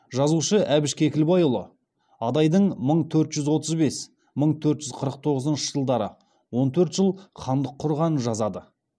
жазушы әбіш кекілбайұлы адайдың мың төрт жүз отыз бес мың төрт жүз қырық тоғызыншы жылдары он төрт жыл хандық құрғанын жазады